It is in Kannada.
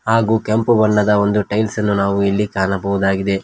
ಹಾಗೂ ಕೆಂಪು ಬಣ್ಣದ ಒಂದು ಟೈಲ್ಸ್ ಅನ್ನು ನಾವು ಇಲ್ಲಿ ಕಾಣಬಹುದಾಗಿದೆ.